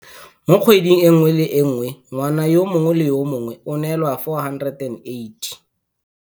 Mo kgweding e nngwe le e nngwe ngwana yo mongwe le yo mongwe o neelwa R480.